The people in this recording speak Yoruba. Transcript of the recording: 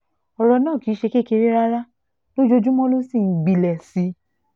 ọ̀rọ̀ náà kì í ṣe kékeré rárá lójoojúmọ́ ló sì ń gbilẹ̀ sí i